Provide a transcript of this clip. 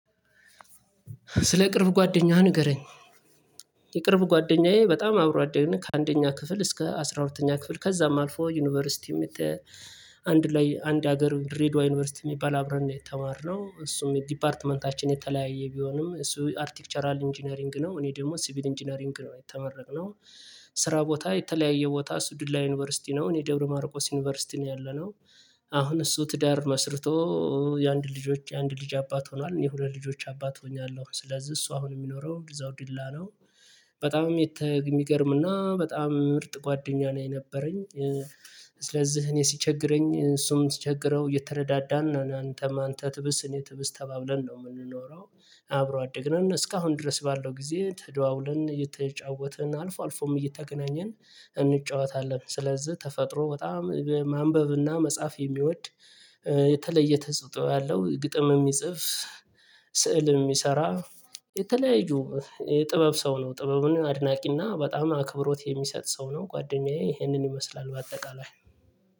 ስለ ቅርብ ጓደኛህ ንገረኝ? የቅርብ ጓደኛዬ በጣም አብሮ አደግን ከአንደኛ ክፍል እስከ አስራ ሁለተኛ ክፍል ከዛም አልፎ ዩኒቨርሲቲም አንድ ላይ አንድ ሀገር ድሬዳዋ ዩኒቨርሲቲ የሚባል አብረን ነው የተማርነው እሱም ዲፓርትመንታችን የተለያየ ቢሆንም እሱ አርቲክቸራል ኢንጂነሪንግ ነው እኔ ደግሞ ሲቪል ኢንጂነሪንግ ነው የተመረቅነው። ስራ ቦታ የተለያየ ቦታ እሱ ዲላ ዩኒቨርሲቲ ነው እኔ ደብረ ማርቆስ ዩኒቨርሲቲ ነው ያለነው። አሁን እሱ ትዳር መስርቶ የአንድ ልጆች የአንድ ልጅ አባት ሆኗል የሁለት ልጆች አባት ሆኛለሁ ስለዚህ እሱ አሁን የሚኖረው እዛው ዲላ ነው። በጣም የሚገርም እና በጣም ምርጥ ጓደኛ ነው የነበረኝ። ስለዚህ እኔ ሲቸግረኝ እሱም ሲቸግረው እየተረዳዳን ነው አንተም አንተ ትብስ እኔ ትብስ ተባብለን ነው የምንኖረው። አብረው አደግ ነን እስካሁን ድረስ ባለው ጊዜ ተደዋውለን እየተጫወትን አልፎ አልፎም እየተገናኘን እንጫወታለን። ስለዚህ ተፈጥሮ በጣም ማንበብና መጻፍ የሚወድ የተለየ ተጽጥኦ ያለው ግጥም የሚጽፍ ስዕል የሚሰራ የተለያዩ የጥበብ ሰው ነው። ጥበብን አድናቂና በጣም አክብሮት የሚሰጥ ሰው ነው። ጓደኛዬ ይሄንን ይመስላል በአጠቃላይ።